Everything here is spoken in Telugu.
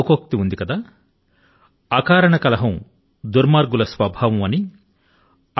ఈ మాటల కు దుర్మార్గుల కు ప్రతి ఒక్కరి తో అకారణం గానే శత్రుత్వం ఏర్పరచుకోవడం స్వాభావికం గానే అబ్బుతుంది అని భావం